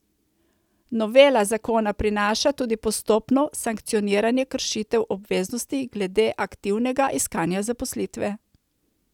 Novela zakona prinaša tudi postopno sankcioniranje kršitev obveznosti glede aktivnega iskanja zaposlitve.